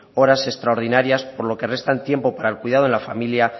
horas extraordinarias por lo que restan tiempo para el cuidado de la familia